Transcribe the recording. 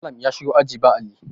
Malam ya shigo aji ba Alli